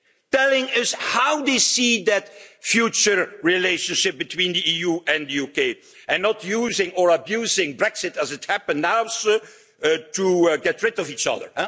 Telling us how they see that future relationship between the EU and the UK and not using or abusing Brexit, as happens now, to get rid of each other.